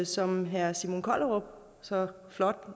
som herre simon kollerup så flot